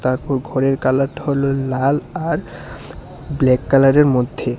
তারপর ঘরের কালারটা হল লাল আর ব্ল্যাক কালারের মধ্যে।